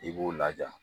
I b'u laja